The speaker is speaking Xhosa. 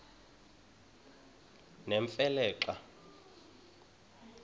nemfe le xa